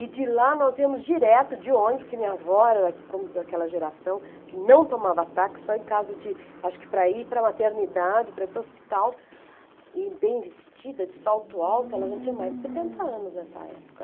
E de lá nós íamos direto de ônibus, porque minha avó era, como diz, daquela geração que não tomava táxi, só em caso de, acho que para ir para a maternidade, para ir para o hospital, e bem vestida, de salto alto, ela já tinha mais de setenta anos nessa época.